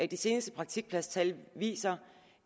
de seneste praktikpladstal viser